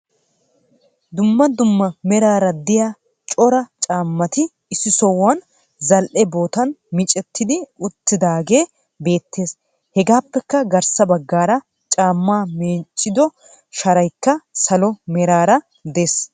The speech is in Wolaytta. Dummaa dummaa meraara de'iya coora cammati issi sohuwan zal'e bottan miccettidi uttidagee beettees hegappekka garsa baggaraa cammaa miccido sharaykka salo meraara des